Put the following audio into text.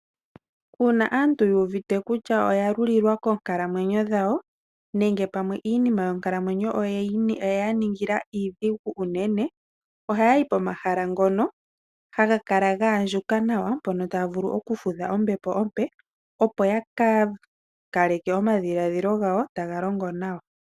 Uuna aantu yu uvite kutya oya lulilwa koonkalamwenyo dhawo nenge iinima yonkalamwenyo oye ya ningila iidhigu unene ohaya yi pomahala mpono haga kala ga andjuka nawa, mpono taya vulu okufudha ombepo ompe opo ya ka kale ke omadhiladhilo gawo taga longo nawa.